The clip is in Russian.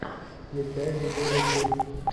включай видео ревью